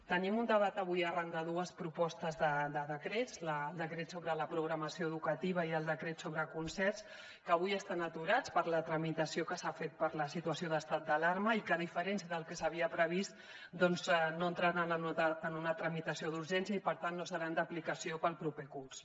tenim un debat avui arran de dues propostes de decrets el decret sobre la programació educativa i el decret sobre concerts que avui estan aturats per la tramitació que s’ha fet per la situació d’estat d’alarma i que a diferència del que s’havia previst doncs no entraran en una tramitació d’urgència i per tant no seran d’aplicació per al proper curs